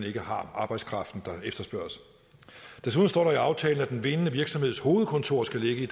ikke har arbejdskraften der efterspørges desuden står der i aftalen at den vindende virksomheds hovedkontor skal ligge i